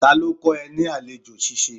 Ta ló kọ ẹ ní àlejò ṣíṣe?